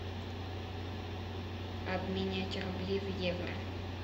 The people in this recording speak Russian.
обменять рубли в евро